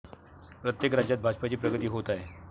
प्रत्येक राज्यांत भाजपची प्रगती होत आहे.